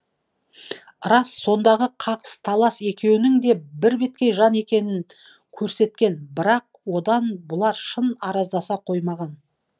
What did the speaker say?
рас сондағы қағыс талас екеуінің де бірбеткей жан екенін көрсеткен бір ақ одан бұлар шын араздаса қоймаған